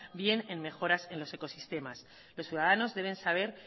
bien en mejoras en los ecosistemas los ciudadanos deben saber